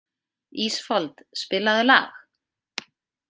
Ísfold, spilaðu lag.